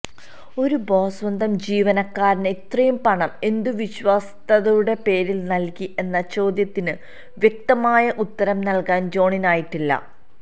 ഒരു ബോസ് സ്വന്തം ജീവനക്കാരന് ഇത്രയും പണം എന്തുവിശ്വാസ്യതയുടെ പേരിൽ നൽകി എന്ന ചോദ്യത്തിന് വ്യക്തമായ ഉത്തരം നൽകാൻ ജോണിനായിട്ടില്ല